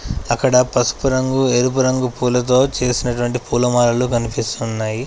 అక్కడ పసుపు రంగు ఎరుపు రంగు పూలతో చేసినటువంటి పూలమాలలు కనిపిస్తున్నాయి.